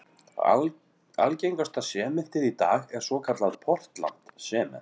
Algengasta sementið í dag er svokallað portland sement.